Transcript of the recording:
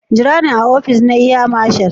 gira ni a opice na Air marshal.